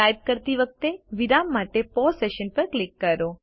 type કરતી વખતે વિરામ માટે પૌસે સેશન પર ક્લિક કરો